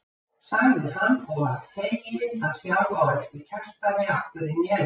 sagði hann og varð feginn að sjá á eftir Kjartani aftur inn í eldhús.